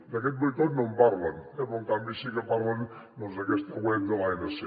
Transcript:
d’aquest boicot no en parlen eh però en canvi sí que parlen d’aquesta web de l’anc